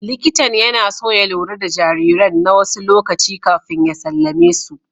Likitan yana so ya lura da jariran na wasu lokaci kafin ya sallame mu.